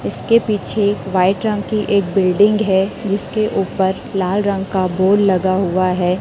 इसके पीछे वाइट रंग की एक बिल्डिंग है जिसके ऊपर लाल रंग का बोर्ड लगा हुआ है।